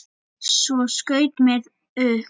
Svo skaut mér upp.